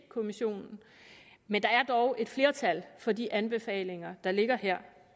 kommissionen men der er dog et flertal for de anbefalinger der ligger her